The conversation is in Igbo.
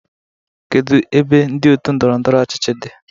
Kedu ebe ndị otu ndọrọ ndọrọ ọchịchị dị?